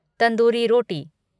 tandoori रोटी